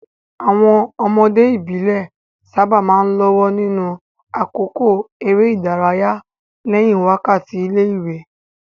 Àwọn ọmọdé ìbílẹ̀ sábà máa ń lọ́wọ́ nínú àkókò eré ìdárayá lẹ́yìn wákàtí ilé-ìwé.